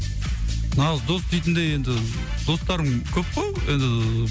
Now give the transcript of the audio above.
нағыз дос дейтіндей енді достарым көп қой енді